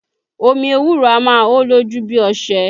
Omi ewúro a máa hó lójú bí ọṣẹ